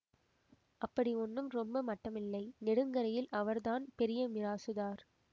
அப்படி ஒண்ணும் ரொம்ப மட்டமில்லை நெடுங்கரையில் அவர்தான் பெரிய மிராசுதார்